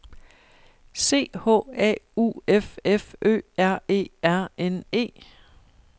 C H A U F F Ø R E R N E